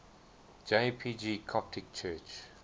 jpg coptic church